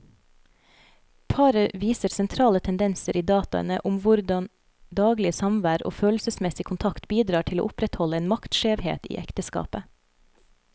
Paret viser sentrale tendenser i dataene om hvordan daglig samvær og følelsesmessig kontakt bidrar til å opprettholde en maktskjevhet i ekteskapet.